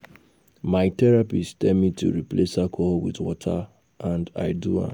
My therapist tell me to replace alcohol with water and I do am